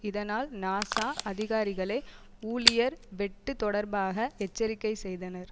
இதனால் நாசா அதிகாரிகளே ஊழியர் வெட்டு தொடர்பாக எச்சரிக்கை செய்தனர்